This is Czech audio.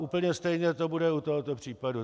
Úplně stejně to bude u tohoto případu.